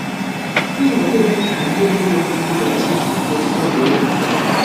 N’ihi gịnị ka ndị ndu okpukperechi ji bo Pọl ebubo?